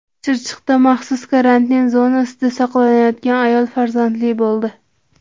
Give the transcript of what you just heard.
Chirchiqda maxsus karantin zonasida saqlanayotgan ayol farzandli bo‘ldi .